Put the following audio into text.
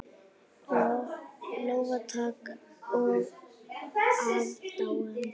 Lófatak og aðdáun.